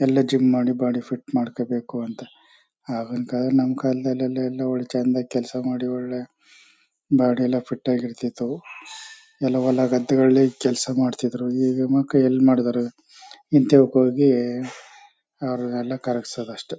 ಇಲ್ಲಿ ಜಿಮ್ ಮಾಡಿ body fit ಮಾಡ್ಕೋಬೇಕು ಅಂತ ಆಗಿನ್ ಕಾಲದಲ್ಲಿ ನಮ್ ಕಾಲದಲ್ಲಿ ಎಲ್ಲ ಎಲ್ಲಿ ಚಂದ ಕೆಲಸ ಮಾಡಿ ಒಳ್ಳೆ ಬಾಡಿ ಎಲ್ಲ ಫಿಟ್ ಆಗಿರ್ತ ಇತ್ತು . ಎಲ್ಲ ಹೊಲ ಗದ್ದೆಗಳಲ್ಲಿ ಕೆಲಸ ಮಾಡ್ತಿದ್ರು ಈಗ ಮಕ್ಳು ಎಲ್ ಮಾಡಿದರೆ ಈಚೆಕ್ ಹೋಗಿ ಅವರೆಲ್ಲ ಕಾರ್ಗ್ಸಡ್ ಅಷ್ಟೇ.